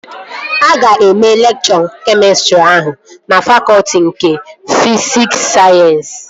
Aga eme lekchọ kemịstrị ahụ na fakọtị nke fisikul sayensị